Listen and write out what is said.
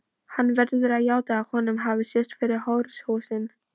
Hann verður að játa að honum hafi sést yfir hóruhúsin.